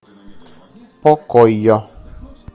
покойо